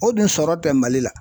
O dun sɔrɔ tɛ Mali la.